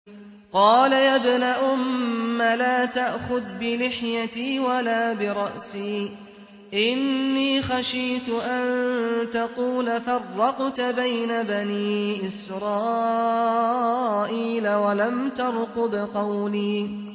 قَالَ يَا ابْنَ أُمَّ لَا تَأْخُذْ بِلِحْيَتِي وَلَا بِرَأْسِي ۖ إِنِّي خَشِيتُ أَن تَقُولَ فَرَّقْتَ بَيْنَ بَنِي إِسْرَائِيلَ وَلَمْ تَرْقُبْ قَوْلِي